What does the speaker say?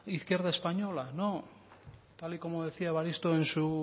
izquierda española no tal y como decía evaristo en su